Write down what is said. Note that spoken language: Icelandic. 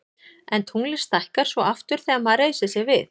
en tunglið stækkar svo aftur þegar maður reisir sig við